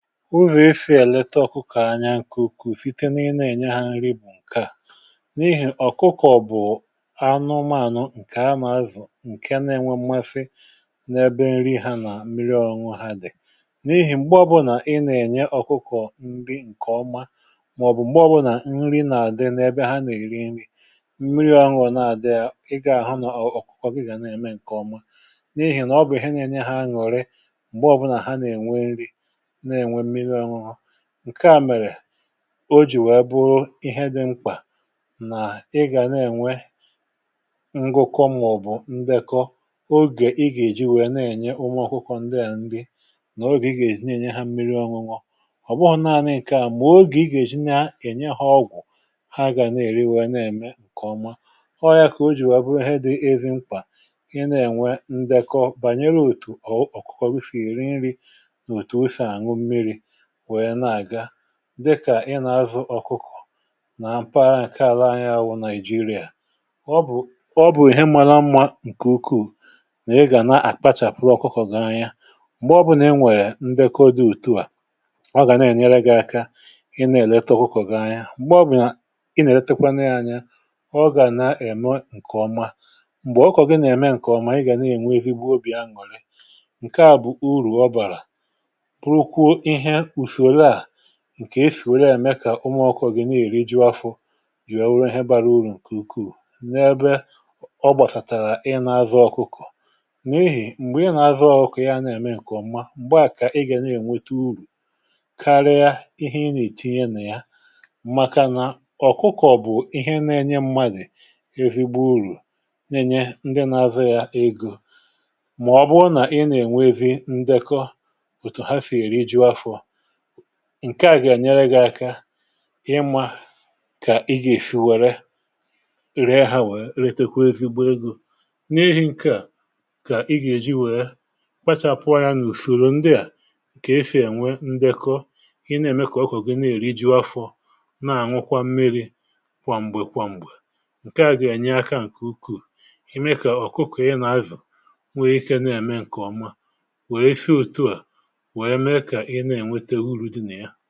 Ụzọ esi èlete ọkụkọ̀ anya ǹkè ùkwuu site na ị nȧ ènye hȧ nri bụ nkea n’ihì ọ̀kụkọ̀ bụ̀ anụmȧnụ̀ ǹkè anà-azụ̀ ǹke na-enwe mmasị n’ebe nri hȧ nà mmiri ọnụnụ̇ha dì n’ihì m̀gbe ọbụnà ị nà-ènye ọ̀kụkọ̀ nri ǹkè ọma màọ̀bụ̀ m̀gbe ọbụnà nri nà-àdị n’ebe ha nà-èri nri m̀miri ọṅụṅụ na-àdị yȧ ị gà-àhụ nọ̀ ọ̀kụkọ̀ gị gà nà-ème ǹkè ọma n’ihì nà ọbụ̀ ihe na-ènye hȧ añùri mgbe ọ bụla ha na-enwė nri, na-enwe mmiri ọṅụṅụ ǹkẹ a mèrè o jì wèe bụrụ ihe dị mkpà nà ị gà nà-enwe ngụkọ màọbụ̀ ǹdekọ ogè ị gà-eji wèe na-enye ụmụ̇ ọkụkọ̇ ndị à nrị nà ogè ị gà-eji na-enye ha mmiri ọṅụṅụ. ọ̀bụghọ̇ naanị ǹkẹ̀ à mà o gà ị gà-eji na-enye ha ọgwụ̀ ha gà na-eri wèe na-eme ǹkẹ̀ ọma, ọọ̇ yȧ kà o jì wèe bụrụ ihe di esi mkpà ị na-enwe ǹdekọ bànyere òtù ọ̀kụkọ gị sì èri nri ma otú ọ si a ñu mmiri wee na-aga dịkà ị nà-azụ ọkụkọ̀ nà m̀paghara nke ala anyȧ wụ Naịjịrịa, ọ bụ̀ọ bụ̀ihe mara mmȧ ǹkè ukwuù nà ị gà na-àkpachàpụrụ ọkụkọ̀ gị̇ anya m̀gbè ọ bụ̀na enwè ndekọ dị̇ otu à ọ gà na-ènyere gị̇ aka ị na-èlete ọkụkọ̀ gị̇ anya, m̀gbè ọ bụ̀ ị nà-èletekwa na ya anya ọ gà na-ème ǹkèọma m̀gbè ọkụkọ̀gị nà-ème ǹkèọma ị gà na-ènwe ezigbo obì anuri ǹkè a bụ̀ urù ọ bàrà burukwó ihe usoro a ǹkè esì wee na-ème kà umù ọkụkọ gị na-èri jụ̀ afụ jìrì wee wụrụ ihe bȧrȧ urù ǹkè ukwuù, n’ebe ọ gbàsàtàrà ị na-azụ ọkụkọ̀ n’ihì m̀gbè ị na-azụ ọkụkọ̀ yȧ na-ème ǹkèọ̀ mmȧ m̀gbe à kà ị gà na-ènwete urù karia ihe ị nà-ètinye nà ya màkà nà ọ̀kụkọ̀ bụ̀ ihe nȧ-ėnyė mmadi ezigbo urù n’enye ndị na-azụ yȧ egȯ mà ọbụrụ nà ị na-ènwe zi ndekọ òtù ha sị̀ èri jụ afọ ǹke à gà-enyere gị̀ aka ịmȧ kà ị gà-èsi wère re ha wèe retekwa ezigbo egȯ n’ihì ǹkè a kà ị gà-èji wèe kpachapụ anya n’ùsoro ndị à kà esì ènwe ndekọ i na-ème kà ọkụkọ̀gì na-eriju afọ̇ na-àṅụkwa mmiri̇ kwà m̀gbè kwà m̀gbè ǹke à gà-enye akȧ ǹkè ukwuù ème kà ọ̀ kụkọ ị nà-azụ nwee ike na-ème ǹkè ọma wèe sị otu à wee mee ka ị na-enweta uru dị na yá.